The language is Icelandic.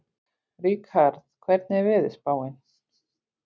Ríkharð, hvernig er veðurspáin?